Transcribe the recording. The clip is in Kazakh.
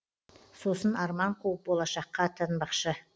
сосын арман қуып болашаққа аттанбақшы